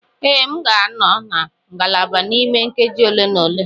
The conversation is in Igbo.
Ee, m ga-anọ na ngalaba n'ime nkeji ole na ole.